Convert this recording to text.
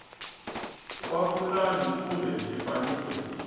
wa pulani kumbe xifaniso lexi